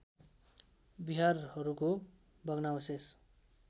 विहारहरूको भग्नावशेष